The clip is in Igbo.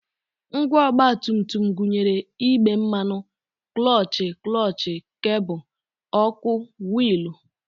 Ngwa ọgbatumtum gụnyere igbe mmanụ, klọọchị, klọọchị kebụl, ọkụ, wiilụ